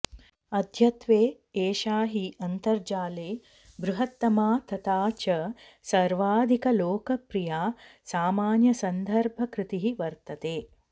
अद्यत्वे एषा हि अन्तर्जाले बृहत्तमा तथा च सर्वाधिकलोकप्रिया सामान्यसन्दर्भकृतिः वर्तते